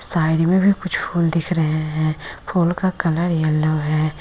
Side में भी कुछ फूल दिख रहे है फूल का कलर येलो है।